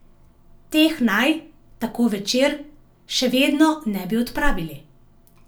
Teh naj, tako Večer, še vedno ne bi odpravili.